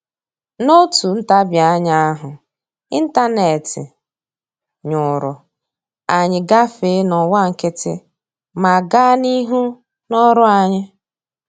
N'otu ntabianya ahụ ịntanetị nyụrụ, anyị gafee n'ọwa nkịtị ma gaa n'ihu n'ọrụ anyị